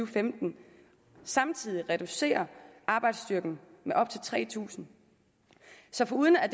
og femten samtidig reducerer arbejdsstyrken med op til tre tusind så foruden at